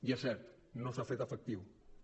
i és cert no s’han fet efectius